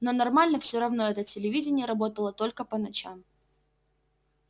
но нормально всё равно это телевидение работало только по ночам